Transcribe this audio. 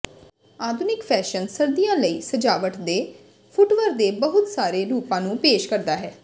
ਆਧੁਨਿਕ ਫੈਸ਼ਨ ਸਰਦੀਆਂ ਲਈ ਸਜਾਵਟ ਦੇ ਫੁਟਵਰ ਦੇ ਬਹੁਤ ਸਾਰੇ ਰੂਪਾਂ ਨੂੰ ਪੇਸ਼ ਕਰਦਾ ਹੈ